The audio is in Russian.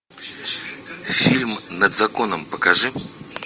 фильм над законом покажи